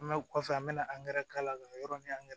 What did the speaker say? An bɛ kɔfɛ an bɛna k'a la ka yɔrɔ ni angɛrɛ